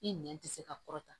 I nɛn tɛ se ka kɔrɔta